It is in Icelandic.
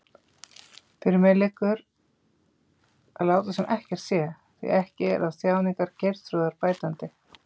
Fyrir mér liggur að láta sem ekkert sé, því ekki er á þjáningar Geirþrúðar bætandi.